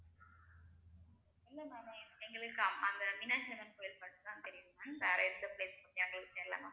இல்லை ma'am எங்களுக்கு அந்த மீனாட்சி அம்மன் கோயில் மட்டும் தான் தெரியும் ma'am வேற எந்த place உம் எங்களுக்கு தெரில ma'am